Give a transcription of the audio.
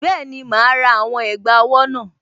Bẹ́ẹ̀ni, màá rà àwọn ẹ̀gbà owó náà